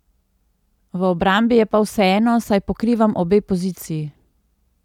V obrambi je pa vseeno, saj pokrivam obe poziciji.